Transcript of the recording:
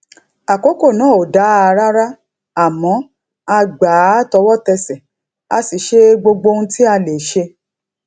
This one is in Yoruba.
àkókò náà ò dáa rárá àmọ a gbà á tọwọtẹsẹ a sì ṣe gbogbo ohun tá a lè ṣe